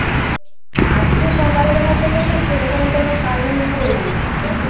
আজকে সকাল বেলা থেকে তো সেরকম কোন কাজ আমি করিনি আমি তো